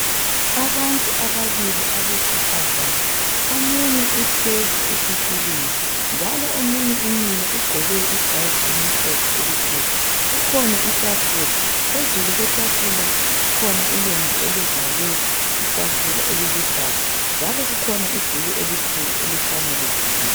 Abantu ababili abesifazana. Omunye uhlezi ezitulweni njalo omunye umile ugqoke ijazi elimhlophe elikhulu. Kukhona itafula, phezulu kwetafula kukhona ilembu elivals itafula eliluhlaza njalo kukhona ibhuku elimhlophe elikhanya livaliwe.